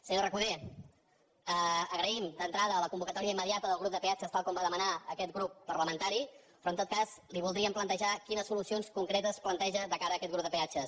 senyor recoder agraïm d’entrada la convocatòria immediata del grup de peatges tal com va demanar aquest grup parlamentari però en tot cas li voldríem plantejar quines solucions concretes planteja de cara a aquest grup de peatges